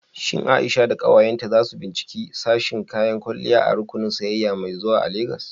Shin Aisha da ƙawayenta za su binciki sashin kayan kwalliya a rukunin sayayya mai zuwa a Legas?